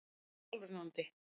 heitt og sjálfrennandi.